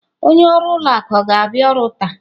Onye ọrụ ụlọ akụ ọ ga-abịa ọrụ taa?